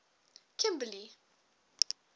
kimberley